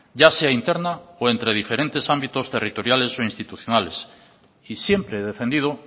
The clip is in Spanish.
ya se interna o entre diferente ámbitos territoriales o institucionales y siempre he defendido